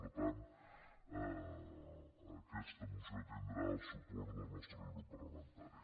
per tant aquesta moció tindrà el suport del nostre grup parlamentari